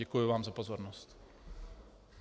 ěkuji vám za pozornost.